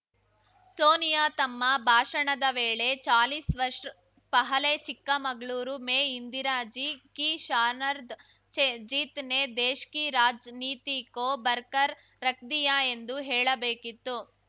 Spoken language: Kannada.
ಸೋನಿಯಾ ತಮ್ಮ ಭಾಷಣದ ವೇಳೆ ಚಾಲೀಸ್‌ ವರ್ಷ್ ಪಹಲೇ ಚಿಕ್ಕಮಗಳೂರ್‌ ಮೇ ಇಂದಿರಾಜೀ ಕೀ ಶಾನರ್ದ ಜೀತ್‌ ನೇ ದೇಶ್‌ಕಿ ರಾಜ್‌ನೀತಿ ಕೋ ಬರ್ಕರ್‌ ರಕ್‌ದಿಯಾ ಎಂದು ಹೇಳಬೇಕಿತ್ತು